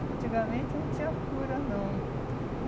Antigamente não tinha cura, não.